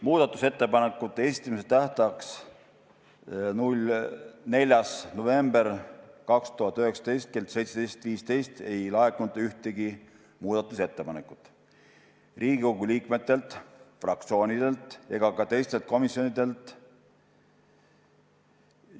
Muudatusettepanekute esitamise tähtajaks, 4. novembriks 2019 kella 17.15-ks ei laekunud ühtegi ettepanekut ei Riigikogu liikmetelt, fraktsioonidelt ega ka teistelt komisjonidelt.